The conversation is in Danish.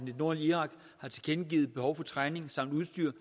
nordlige irak har tilkendegivet et behov for træning samt udstyr